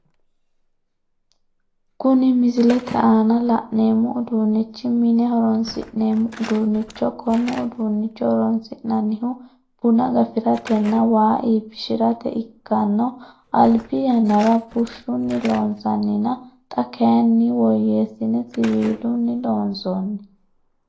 Kunni misilete aanna la'neemo uduunichi mine horoonsi'neemo uduunicho Kone uduunicho horoonsi'nannihu bunna gafiratenna waa iibishirate ikano albi yannara bushunni loonsanninna xa kayinna woyeesine siwiilunni loonsoonni.